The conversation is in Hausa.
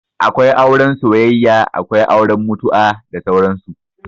Akwai auren soyayya, Akwai auren mutu'a, da sauran su